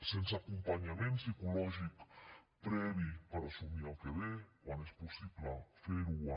sense acompanyament psicològic previ per assumir el que ve quan és possible fer ho en